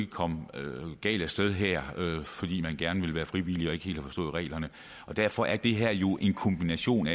ikke komme galt af sted her fordi man gerne vil være frivillig og ikke helt har forstået reglerne og derfor er det her jo en kombination